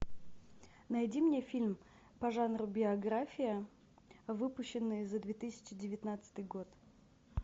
найди мне фильм по жанру биография выпущенные за две тысячи девятнадцатый год